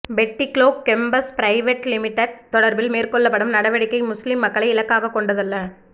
Batticaloa campus private limited தொடர்பில் மேற்கொள்ளப்படும் நடவடிக்கை முஸ்லிம் மக்களை இலக்காக கொண்டதல்ல